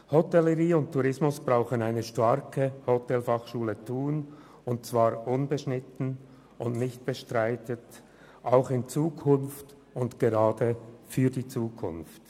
Hotellerie und Tourismus brauchen eine starke Hotelfachschule Thun, und zwar unbeschnitten und unbestritten, auch in Zukunft und gerade für die Zukunft.